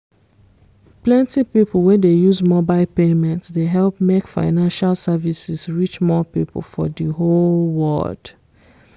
plenty people wey dey use mobile payment dey help make financial services reach more people for di whole world!